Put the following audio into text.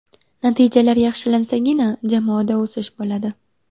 Natijalar yaxshilansagina jamoada o‘sish bo‘ladi”.